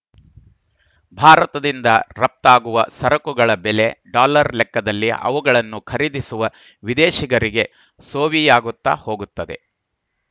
ಭಾರತದಿಂದ ರಫ್ತಾಗುವ ಸರಕುಗಳ ಬೆಲೆ ಡಾಲರ್‌ ಲೆಕ್ಕದಲ್ಲಿ ಅವುಗಳನ್ನು ಖರೀದಿಸುವ ವಿದೇಶಿಗರಿಗೆ ಸೋವಿಯಾಗುತ್ತಾ ಹೋಗುತ್ತದೆ